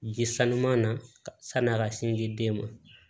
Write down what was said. Ji sanuman na san'an ka sin ji den ma